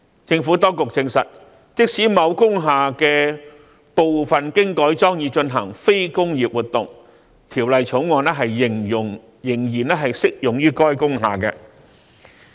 政府當局證實，即使某工廈部分經改裝以進行非工業活動，《條例草案》仍然適用於該工廈。